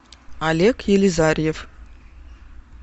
олег елизарьев